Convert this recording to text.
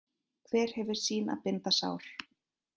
Hver hefur sín að binda sár.